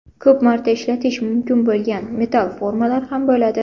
Ko‘p marta ishlatish mumkin bo‘lgan metall formalar ham bo‘ladi.